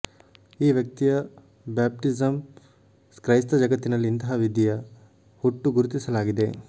ಈ ವ್ಯಕ್ತಿಯ ಬ್ಯಾಪ್ಟಿಸಮ್ ಕ್ರೈಸ್ತ ಜಗತ್ತಿನಲ್ಲಿ ಇಂತಹ ವಿಧಿಯ ಹುಟ್ಟು ಗುರುತಿಸಲಾಗಿದೆ